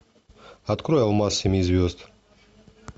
открой алмаз семи звезд